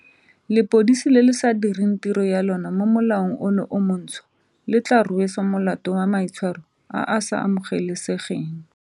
Lepodisi le le sa direng tiro ya lona mo molaong ono o montšhwa le tla rweswa molato wa maitshwaro a a sa amoge lesegeng.